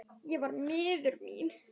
Ég var miður mín.